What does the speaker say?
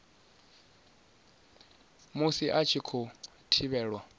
musi a tshi khou thivhelwa